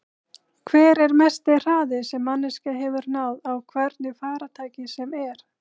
Hver er mesti hraði sem manneskja hefur náð á hvernig farartæki sem er?